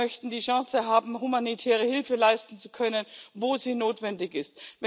Wir möchten die Chance haben, humanitäre Hilfe leisten zu können, wo sie notwendig